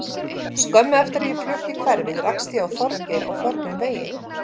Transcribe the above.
Skömmu eftir að ég flutti í hverfið rakst ég á Þorgeir á förnum vegi.